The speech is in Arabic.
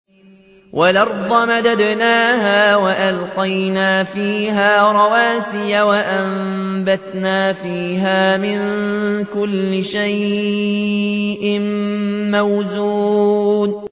وَالْأَرْضَ مَدَدْنَاهَا وَأَلْقَيْنَا فِيهَا رَوَاسِيَ وَأَنبَتْنَا فِيهَا مِن كُلِّ شَيْءٍ مَّوْزُونٍ